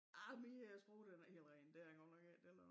Arh min øh sprog den er ikke helt ren det er den godt nok ikke den er